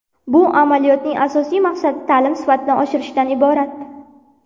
Bu amaliyotning asosiy maqsadi ta’lim sifatini oshirishdan iborat.